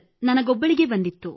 ನನಗೊಬ್ಬಳಿಗೇ ಬಂದಿತ್ತು